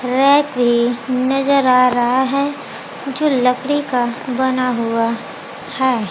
Rack भी नजर आ रहा है जो लकड़ी का बना हुआ है।